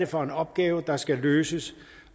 for en opgave der skal løses